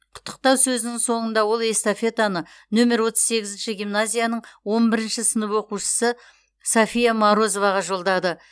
құттықтау сөзінің соңында ол эстафетаны нөмер отыз сегізінші гимназияның он бірінші сынып оқушысы софия морозоваға жолдады